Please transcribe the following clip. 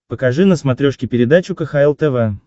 покажи на смотрешке передачу кхл тв